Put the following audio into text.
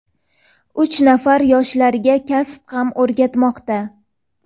uch nafar yoshlarga kasb ham o‘rgatmoqda.